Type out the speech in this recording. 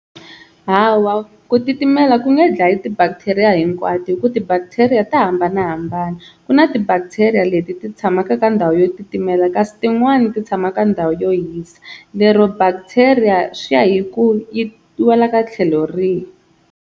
Hawa ku titimela ku nge dlayi ti-bacteria hinkwato hi ku ti-bacteria ta hambanahambana ku na ti-bacteria leti ti tshamaka ka ndhawu yo titimela kasi tin'wani ti tshama ka ndhawu yo hisa, lero bacteria swi ya hi ku yi wela ka tlhelo rihi.